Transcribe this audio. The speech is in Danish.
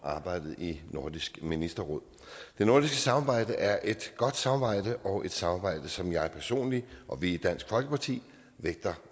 arbejdet i nordisk ministerråd det nordiske samarbejde er et godt samarbejde og et samarbejde som jeg personligt og vi i dansk folkeparti vægter